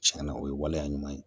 Tiɲɛna o ye waleya ɲuman ye